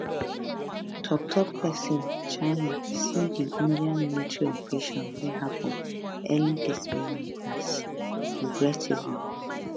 tok tok pesin china see di india military operation wey happun early dis morning as regrettable